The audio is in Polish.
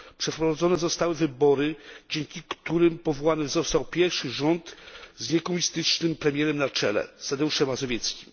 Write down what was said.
przeprowadzone zostały wybory, dzięki którym powołany został pierwszy rząd z niekomunistycznym premierem na czele Tadeuszem Mazowieckim.